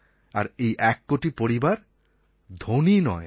আর এই এক কোটি পরিবার ধনী নয়